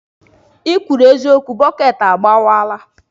ikwuru eziokwu, bọket agbawala.